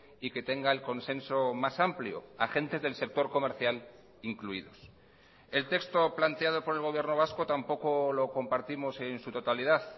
y que tenga el consenso más amplio agentes del sector comercial incluidos el texto planteado por el gobierno vasco tampoco lo compartimos en su totalidad